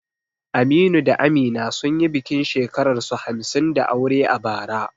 Aminu da Amina sun yi bikin shekararsu hamsin da aure a bara.